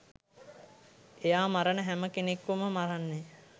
එයා මරන හැම කෙනෙක්වම මරන්නේ